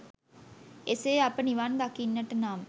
එසේ අප නිවන් දකින්නට නම්